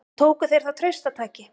Nú tóku þeir það traustataki.